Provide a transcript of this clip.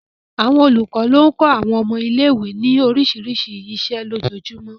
Àwọn olùkọ́ ló ń kọ́ àwọn ọmọ ilé ìwé ní oríṣiríṣi iṣẹ́ lójoojúmọ́